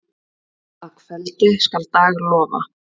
Að kveldi skal dag lofa.